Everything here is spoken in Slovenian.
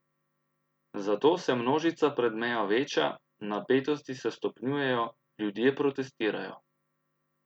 Zato se množica pred mejo veča, napetosti se stopnjujejo, ljudje protestirajo.